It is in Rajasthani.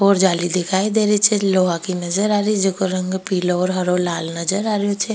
और जाली दिखाई दे रही छे लोहा कि नजर आ रही जोकी रंग पिलो ओर हरो लाल नजर आ रियो छे।